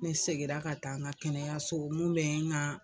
Ne seginna ka taa an ka kɛnɛyaso olu bɛ n ka